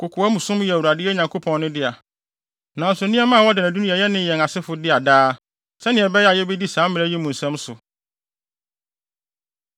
Kokoamsɛm yɛ Awurade, yɛn Nyankopɔn no, dea, nanso nneɛma a wɔda no adi no yɛ yɛn ne yɛn asefo dea daa, sɛnea ɛbɛyɛ a yebedi saa mmara yi mu nsɛm so.